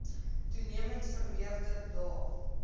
toenemend vermeerder daar